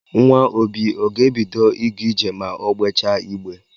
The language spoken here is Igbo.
Nwa obi ọ ga-ebido ịga ije ma o gbechaa igbe